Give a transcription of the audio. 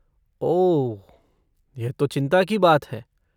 ओह, यह तो चिंता की बात है।